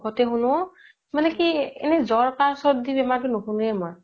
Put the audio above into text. শোনো মানে কি এনে জ'ৰ কাহ চৰ্দি বেমাৰতো নোশোনোয়ে মই